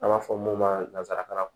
An b'a fɔ mun ma nanzarakan na